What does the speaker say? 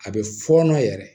A bɛ fɔɔnɔ yɛrɛ